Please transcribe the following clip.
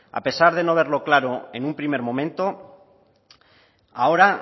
a pesar de no verlo claro en un primer momento ahora